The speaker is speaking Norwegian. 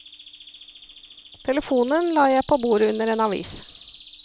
Telefonen la jeg på bordet under en avis.